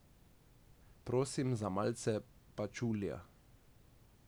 Prosim za malce pačulija ...